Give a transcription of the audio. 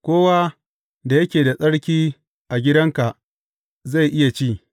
Kowa da yake da tsarki a gidanka zai iya ci.